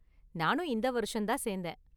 நானும் இந்த வருஷம்தான் சேந்தேன்.